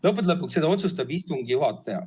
Lõppude lõpuks otsustab seda istungi juhataja.